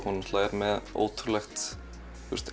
hún er með ótrúlegt